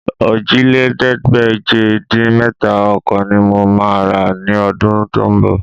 Òjìlélẹ́ẹ̀ẹ́dégbèje-dín-mẹ́ta ọkọ̀ ní mo máa rà ní ọdún tó ń bọ̀